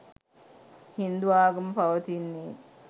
හින්දු ආගම පවතින්නේ